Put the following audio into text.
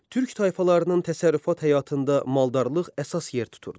Türk tayfalarının təsərrüfat həyatında maldarlıq əsas yer tuturdu.